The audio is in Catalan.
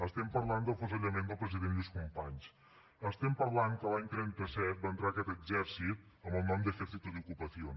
estem parlant de l’afusellament del president lluís companys estem parlant que l’any trenta set va entrar aquest exèrcit amb el nom d’ ejército de ocupación